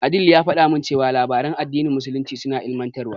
Adeel ya faɗa min cewa labaran addinin musulunci suna ilimantarwa.